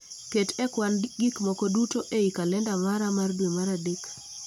Ket e kwan gik moko duto ei kalenda mara mar dwe mar adek